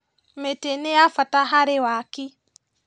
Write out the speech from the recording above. Mĩtĩ nĩ ya bata harĩ waki